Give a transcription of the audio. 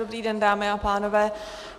Dobrý den, dámy a pánové.